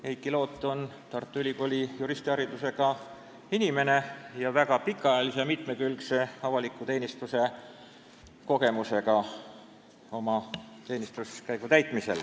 Heiki Loot on Tartu Ülikooli juristiharidusega inimene ning väga pikaajalise ja mitmekülgse avaliku teenistuse kogemusega.